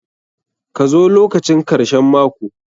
Ka zo lokacin karshen mako!